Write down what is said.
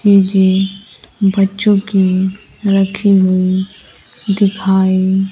बच्चों की रखी गई दिखाई--